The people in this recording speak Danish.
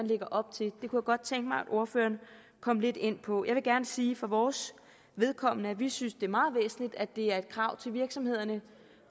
lægger op til det kunne jeg godt tænke mig at ordføreren kom lidt ind på jeg vil gerne sige for vores vedkommende at vi synes det er meget væsentligt at det er et krav til virksomhederne